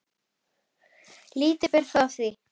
Lítið ber þó á því.